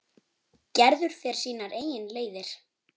Gerður fer sínar eigin leiðir.